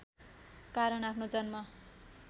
कारण आफ्नो जन्म